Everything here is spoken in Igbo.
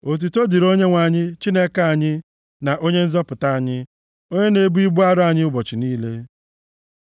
Otuto dịrị Onyenwe anyị, Chineke anyị, na Onye Nzọpụta anyị, Onye na-ebu ibu arọ anyị ụbọchị niile. Sela